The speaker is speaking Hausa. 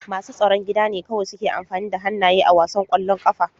Masu tsaron gida ne kawai suke amfani da hannaye a wasan ƙwallon ƙafa.